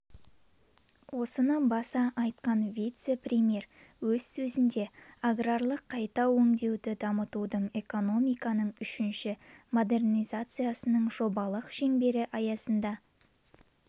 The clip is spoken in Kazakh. осыны баса айтқан вице-премьер өз сөзінде аграрлық қайта өңдеуді дамытудың экономиканың үшінші модернизациясының жобалық шеңбері аясында